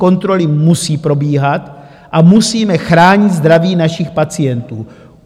Kontroly musí probíhat a musíme chránit zdraví našich pacientů.